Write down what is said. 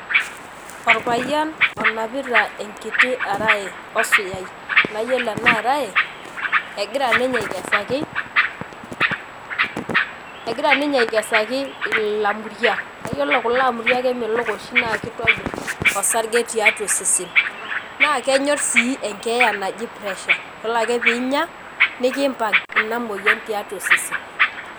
Olpayian onapita enkiti araye osuyai naayiolo ena araye egira ninye akesaki olamuriak. Naa yiolo kula amuriak naa kemelok oshi naa kitobir olsarge tiatua osesen. Naa kenyor sii enkeya naji pressure yiolo ake peeinya nikimbank inamoyian tiatua osesen.